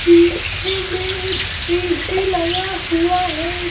पीछे में एक ए_सी लगा हुआ है।